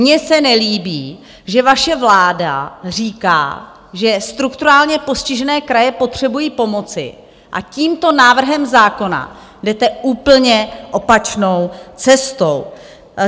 Mně se nelíbí, že vaše vláda říká, že strukturálně postižené kraje potřebují pomoci, a tímto návrhem zákona jdete úplně opačnou cestou.